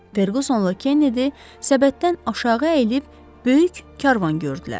Ferqusonla Kenedi səbətdən aşağı əyilib böyük karvan gördülər.